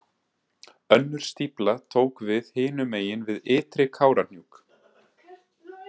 Önnur stífla tók við hinum megin við Ytri- Kárahnjúk.